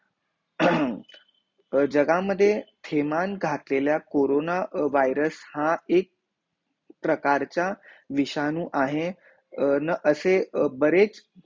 जगह मध्ये तेमान गाकलेल्या कोरोना वायरस हा एक प्रकार च्या विषाणू आहे न असे बरेच